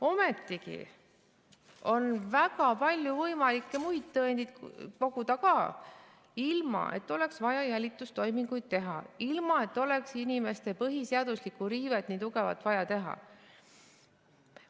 Ometigi on võimalik väga palju muid tõendeid koguda ka, ilma et oleks vaja jälitustoiminguid teha, ilma et oleks inimeste põhiõiguste riivet nii tugevalt vaja teha.